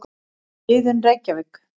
Iðunn, Reykjavík.